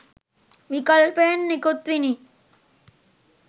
විකල්පයන් නිකුත්විනි.